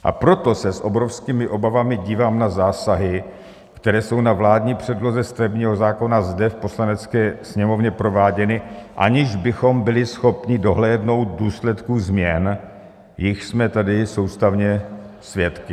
A proto se s obrovskými obavami dívám na zásahy, které jsou na vládní předloze stavebního zákona zde v Poslanecké sněmovně prováděny, aniž bychom byli schopni dohlédnout důsledky změn, jichž jsme tady soustavně svědky.